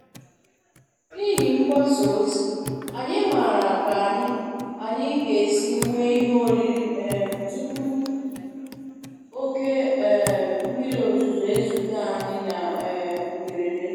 N'ihi mgbasa ozi, anyị maara ka anyị anyị ga-esi nwee ihe oriri um tupu oke um mmiri ozuzo ezute anyị na um mberede.